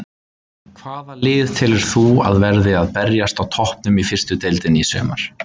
Hvaða lið telur þú að verði að berjast á toppnum í fyrstu deildinni í sumar?